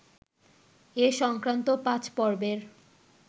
এ সংক্রান্ত ৫ পর্বের